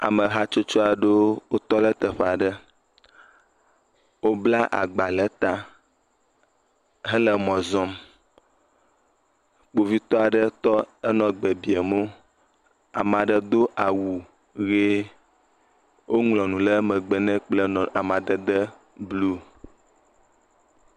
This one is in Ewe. Ame hatsotso aɖe wotɔ ɖe teƒe aɖe. Wobla agba ɖe ta hele mɔ zɔm. Kpovitɔ aɖe tɔ henɔ gbe biam wo. Ame aɖe do awu ʋie woŋlɔ nu ɖe megbe nɛ kple amadede blu.